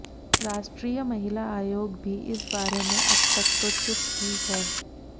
राष्ट्रीय महिला आयोग भी इस बारे में अब तक तो चुप ही है